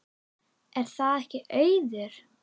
Er það ekki Auður?